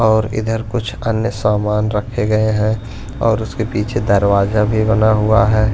और इधर कुछ अन्य सामान रखे गए हैं और उसके पीछे दरवाजा भी बना हुआ है।